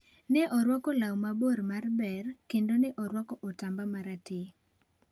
Ne orwako law mabor mar ber kendo ne orwako otamba ma rateng'.